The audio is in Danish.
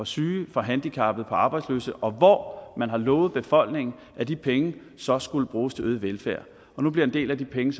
syge handicappede arbejdsløse og hvor man har lovet befolkningen at de penge så skulle bruges til øget velfærd og nu bliver en del af de penge